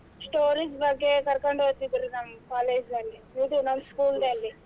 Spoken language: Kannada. Stories ಬಗ್ಗೆ ಕರ್ಕೊಂಡ್ ಹೋಗ್ತೀದ್ರು ನಮ್ college ನಲ್ಲಿ ಇದು ನಮ್ school ನಲ್ಲಿ.